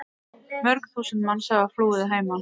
Mörg þúsund manns hafa flúið að heiman.